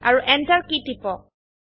আৰু enter key টিপক